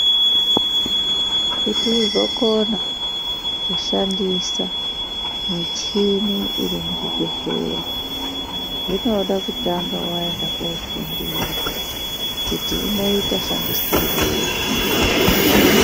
Kuti uzokona kushandisa muchini iri muzvibhedhlera zvinoda kutanga waenda kunofundira kuti inoita shandisirwei.